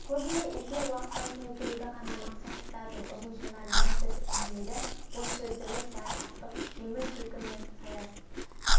көбіне эфир уақытын толтыруды ғана мақсат тұтатын ұзынсонар мәнсіз әңгімелер боссөзділік заржақтық жеңіл күлкі мен саяз